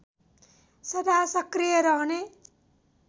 सदा सक्रिय रहने